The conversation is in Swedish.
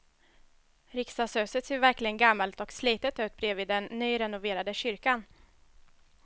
Riksdagshuset ser verkligen gammalt och slitet ut bredvid den nyrenoverade kyrkan.